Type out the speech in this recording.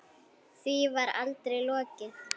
Því var aldrei lokið.